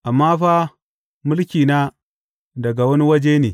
Amma fa mulkina daga wani waje ne.